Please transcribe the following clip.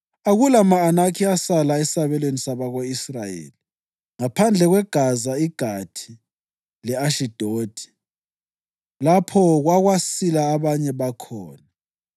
Akula ma-Anakhi asala esabelweni sabako-Israyeli; ngaphandle kweGaza iGathi le-Ashidodi lapho okwasila abanye bakhona.